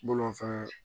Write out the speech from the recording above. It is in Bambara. Bolofɛn